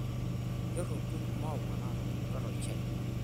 Keropil maua naatubulutua tolchani.